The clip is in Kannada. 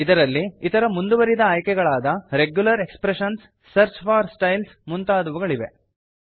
ಇದರಲ್ಲಿ ಇತರ ಮುಂದುವರಿದ ಆಯ್ಕೆಗಳಾದ regular expressions search for styles ಮುಂತಾದವುಗಳಿವೆ